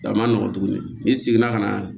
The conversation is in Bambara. A ma nɔgɔn tuguni n'i seginna ka na